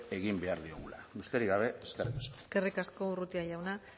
egin behar diogula besterik gabe eskerrik asko eskerrik asko urrutia jauna